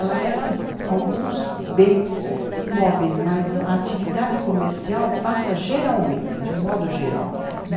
Ela leva alguns bens imóveis, mas a atividade comercial passa geralmente, de um modo geral.